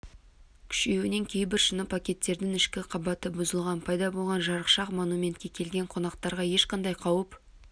күшеюінен кейбір шыны пакеттердің ішкі қабаты бұзылған пайда болған жарықшақ монументке келген қонақтарға ешқандай қауіп